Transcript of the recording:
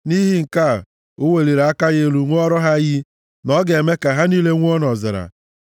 Nʼihi nke a, o weliri aka ya elu ṅụọrọ ha iyi na ọ ga-eme ka ha niile nwụọ nʼọzara,